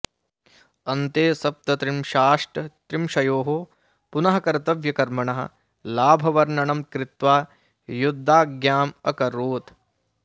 अन्ते सप्तत्रिंशाष्टत्रिंशयोः पुनः कर्तव्यकर्मणः लाभवर्णनं कृत्वा युद्धाज्ञाम् अकरोत्